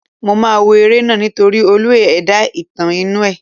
Mo máa wo eré náà nítorí olú ẹ̀dá-ìtàn inú ẹ̀.